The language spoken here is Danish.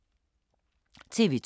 TV 2